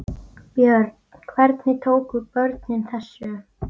Björn: Hvernig tóku börnin þessu?